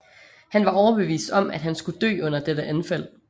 Han var overbevist om at han skulle dø under dette anfald